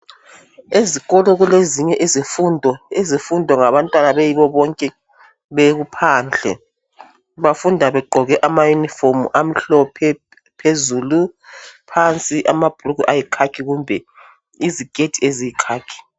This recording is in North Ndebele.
Ezikolo kulezinye izifundo ezifundwa ngabantwana beyibo bonke bephandle. Bafunda begqoke amayunifomu amhlophe phezulu phansi amabhulugwe ayikhakhi kumbe iziketi eziyikhakhi.